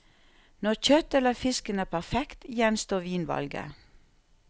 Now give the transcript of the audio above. Når kjøttet eller fisken er perfekt, gjenstår vinvalget.